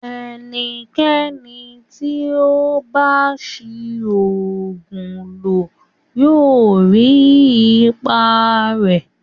Ẹnikẹni tí ó bá ń ṣi oògùn lò yóò rí ipa rẹ̀